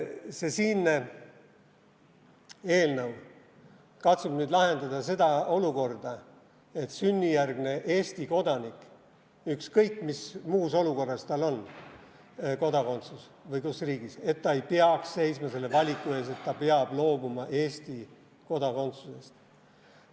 See siinne eelnõu katsub nüüd lahendada seda olukorda, et sünnijärgne Eesti kodanik – ükskõik, mis muus olukorras või kus riigis tal on kodakondsus – ei peaks seisma selle valiku ees, et ta peab loobuma Eesti kodakondsusest.